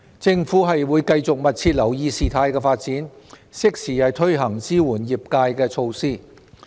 政府會繼續密切留意事態發展，適時推行支援業界的措施。